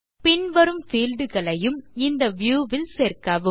பின்வரும் fieldகளையும் இந்த வியூ ல் சேர்க்கவும்